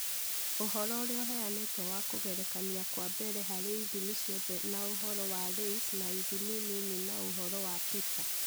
Ũhoro ũrĩa ũheanĩtwo wa kũgerekania kwa mbere harĩ ithimi ciothe na ũhoro wa LAYS na ithimi nini na ũhoro wa PISA